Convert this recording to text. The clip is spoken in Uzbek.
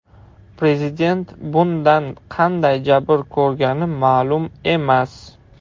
Prezident bundan qanday jabr ko‘rgani ma’lum emas.